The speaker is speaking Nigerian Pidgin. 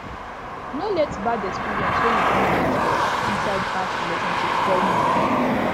no let bad experience wey you don get for inside past relationship spoil new one